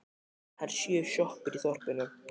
Það eru sjö sjoppur í þorpinu!